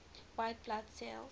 white blood cells